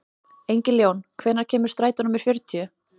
Engiljón, hvenær kemur strætó númer fjörutíu?